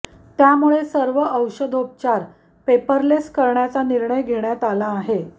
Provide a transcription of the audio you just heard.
त्यामुळे सर्व औषधोपचार पेपरलेस करण्याचा निर्णय घेण्यात आला आहे